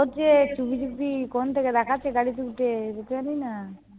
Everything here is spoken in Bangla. ও যে চুপি চুপি কোণ থেকে তাকাচ্ছে গাড়িতে উঠে, সে তো আর জানিনা।